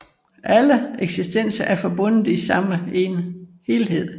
Alle eksistenser er forbundet i den samme helhed